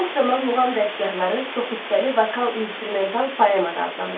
Çox zaman muğam dəstgahları çox hissəli vokal-instrumental poema da adlanır.